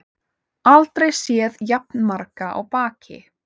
Aldrei séð jafn marga á baki